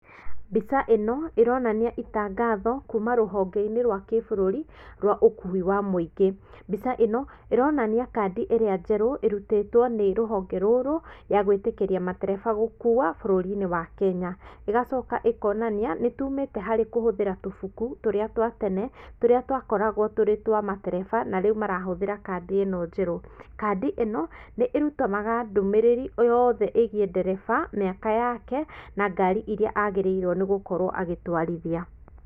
Mbica ĩno ĩronania itangatho kuma rũhonge-inĩ rwa kĩbũrũri rwa ũkui wa mũingĩ. Mbica ĩno ĩronania kandi ĩrĩa njerũ ĩrutĩtwo nĩ rũhonge rũrũ ya gwĩtĩkĩria matereba gũkua bũrũri-inĩ wa Kenya. Igacoka ĩkonania, nĩ tumĩte harĩ kũhũthĩra tũbuku tũrĩa twa tene, tũria twakoragwo tũri twa matereba na rĩu marahũthĩra kandi ĩno njerũ. Kandi ĩno nĩ ĩrutanaga ndũmĩrĩri yothe ĩgiĩ ndereba, mĩaka yake, na ngari iria agĩrĩirwo gũkorwo agĩtwarithia.